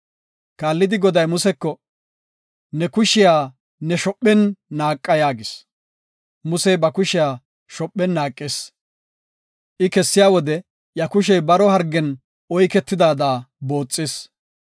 Kaallidi Goday Museko, “Ne kushiya ne shophen naaqa” yaagis. Musey ba kushiya shophen naaqis. I kessiya wode iya kushey baro hargen oyketidaada booxis.